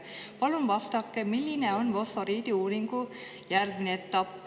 Palun vastake, milline on fosforiidiuuringu järgmine etapp.